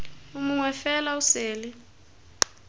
o mongwe fela o sele